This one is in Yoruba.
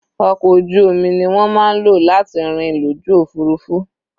Ọkọ̀ ojú omi ni wọ́n máa ń lò láti rìn lójú òfurufú.